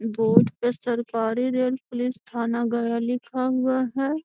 Board पे सरकारी rail police थाना गया लिखा हुआ है।